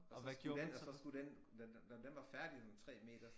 Og så skulle den og så skulle den den når den var færdig sådan 3 meter